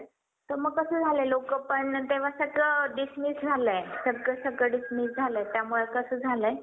ज्याचे all ready demat account आहे. असे लोकंपण demant account open करू शकतात. कारण एक व्यक्ती कितीही demat account open करू शकते. किंवा कधीही mail टाकून ती बंदही करू शकते.